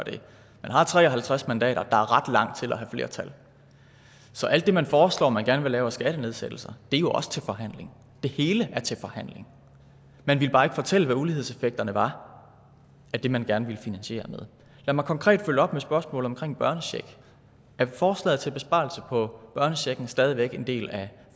det man har tre og halvtreds mandater der er ret langt til at have flertal så alt det man foreslår man gerne vil lave af skattenedsættelser er jo også til forhandling det hele er til forhandling man ville bare ikke fortælle hvad ulighedseffekterne var af det man gerne ville finansiere med lad mig konkret følge op med et spørgsmål omkring børnecheck er forslaget til besparelse på børnechecken stadig væk en del af